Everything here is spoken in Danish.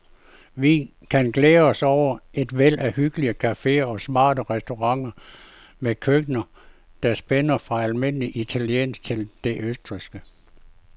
Vi kan glæde os over et væld af hyggelige caféer og smarte restauranter med køkkener, der spænder fra almindelig italiensk til det østrigske.